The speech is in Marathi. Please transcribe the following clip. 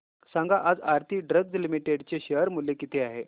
सांगा आज आरती ड्रग्ज लिमिटेड चे शेअर मूल्य किती आहे